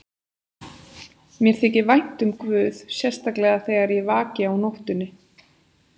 Mér þykir vænt um guð, sérstaklega þegar ég vaki á nóttunni.